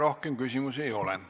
Rohkem küsimusi ei ole.